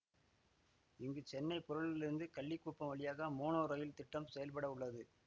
இங்கு சென்னை புழலிலிருந்து கள்ளிக்குப்பம் வழியாக மோனோ ரயில் திட்டம் செயல்பட உள்ளது